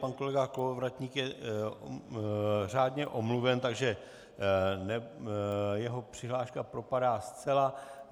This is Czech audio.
Pan kolega Kolovratník je řádně omluven, takže jeho přihláška propadá zcela.